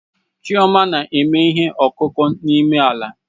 Chioma na-eme ihe ọkụkụ n'ime ala